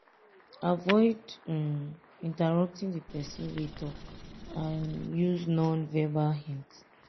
avoid um interrupting di person wey talk and use non-verbal hints